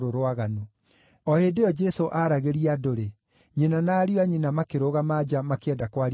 O hĩndĩ ĩyo Jesũ aaragĩria andũ-rĩ, nyina na ariũ a nyina makĩrũgama nja makĩenda kwaria nake.